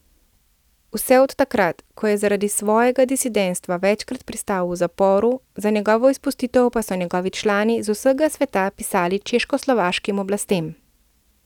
Vse od takrat, ko je zaradi svojega disidentstva večkrat pristal v zaporu, za njegovo izpustitev pa so njihovi člani z vsega sveta pisali češkoslovaškim oblastem.